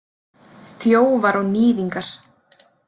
Þjófar og níðingar.